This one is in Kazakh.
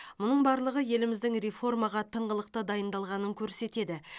мұның барлығы еліміздің реформаға тыңғылықты дайындалғанын көрсетеді